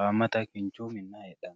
haammata kinchu minna heedhanno